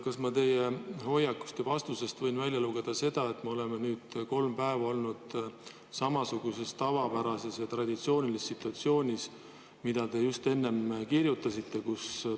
Kas ma teie hoiakust ja vastusest võin välja lugeda seda, et me oleme nüüd kolm päeva olnud samasuguses tavapärases traditsioonilises situatsioonis, mida te just enne kirjeldasite?